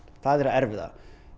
það erfiða